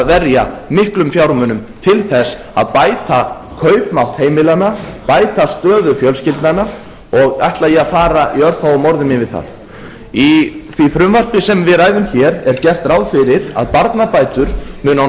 verja miklum fjármunum til þess að bæta kaupmátt heimilanna bæta stöðu fjölskyldnanna og ætla ég að fara í örfáum orðum yfir það í því frumvarpi sem við ræðum hér er gert ráð fyrir að barnabætur muni á